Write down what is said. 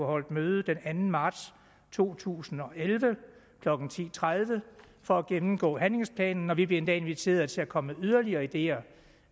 holdt møde den anden marts to tusind og elleve klokken ti tredive for at gennemgå handlingsplanen og vi blev endda inviteret til at komme med yderligere ideer